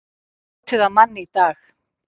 Leituðu að manni í dag